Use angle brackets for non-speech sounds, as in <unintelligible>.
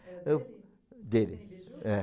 Era dele? Dele. <unintelligible> Biju? É.